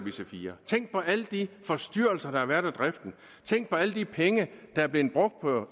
ic4 tænk på alle de forstyrrelser der har været af driften tænk på alle de penge der er blevet brugt på